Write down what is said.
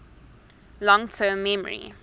long term memory